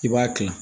I b'a kila